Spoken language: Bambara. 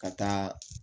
Ka taa